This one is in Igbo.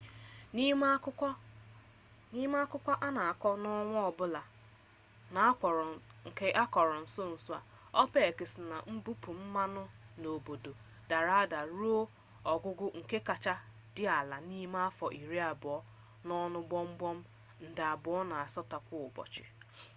n'ime akụkọ ya a na akọ n'ọnwa ọbụla nke akọrọ nso nso a opec si na mbupu mmanụ n'obodo dara ada ruo ogugo nke kacha dị ala n'ime afọ iri abụọ n'ọnụ gbọmgbọm nde abụọ na asatọ kwa ụbọchị